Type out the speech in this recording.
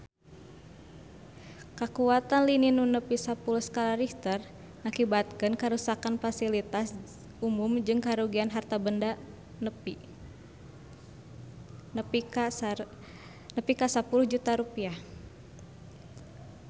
Kakuatan lini nu nepi sapuluh skala Richter ngakibatkeun karuksakan pasilitas umum jeung karugian harta banda nepi ka 10 juta rupiah